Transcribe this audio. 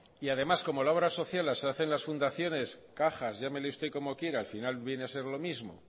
y además como en la obra social se hace en las fundaciones cajas llámele usted como quiera al final viene a ser lo mismo